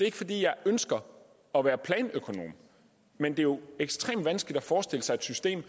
ikke fordi jeg ønsker at være planøkonom men det er jo ekstremt vanskeligt at forestille sig et system